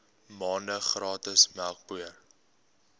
maande gratis melkpoeier